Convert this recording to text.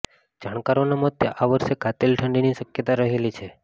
જાણકારોના મતે આ વર્ષે કાતિલ ઠંડીની શક્યતા રહેલી છે